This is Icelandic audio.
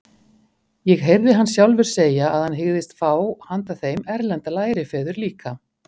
Ég heyrði hann sjálfur segja að hann hygðist fá handa þeim erlenda lærifeður líka.